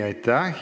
Aitäh!